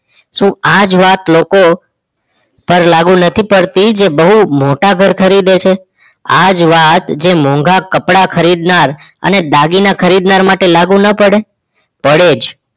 શું આ જ વાત લોકો પર લાગુ નથી પડતી તે બહુ મોટા ઘર ખરીદે છે આ જ વાત જે મોંઘા કપડાં ખરીદનાર અને દાગીના ખરીદનાર માટે લાગુ ના પડે પડે જ